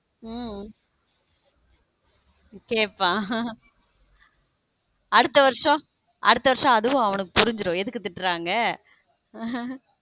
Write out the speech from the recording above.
உம் கேட்பான் அடுத்த வருஷம் அடுத்த வருஷம் அதுவும் அவனுக்கு புரிஞ்சிடும் எதுக்கு திட்டுறாங்க.